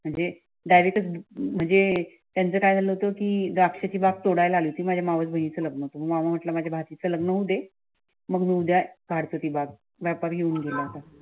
म्हणजे डायरेक्ट म्हणजे त्याचे काय झाल होत कि द्राक्षची बाग तोडायला आली माझ्या मावस बहिणीचे लग्न मामा म्हटल माझ्या भासीच लग्न होऊ दे मगउद्या कालतो ती बाग